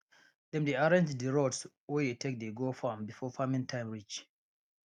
dem dey arrange d roads wey dey take dey go farm before farming time reach